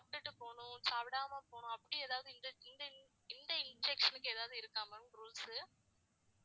சாப்பிட்டுட்டு போணும் சாப்பிடாம போணும் அப்படி ஏதாவது இந்த~ இந்த injection க்கு ஏதாவது இருக்கா ma'am rules சு